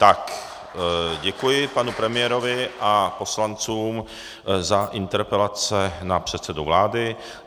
Tak děkuji panu premiérovi a poslancům za interpelace na předsedu vlády.